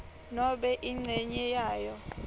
nobe incenye yayo